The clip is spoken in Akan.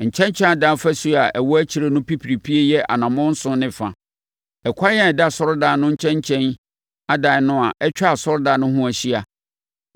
Nkyɛnkyɛn adan afasuo a ɛwɔ akyire no pipiripie yɛ anammɔn nson ne fa. Ɛkwan a ɛda asɔredan no nkyɛnkyɛn adan no a atwa asɔredan no ho ahyia